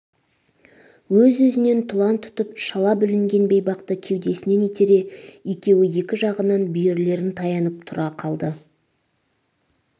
өзі-өзінен тұлан тұтып шала бүлінген бейбақты кеудесінен итере екеуі екі жағынан бүйірлерін таянып тұра қалды